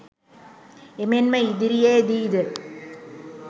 එමෙන්ම ඉදිරියේදී ද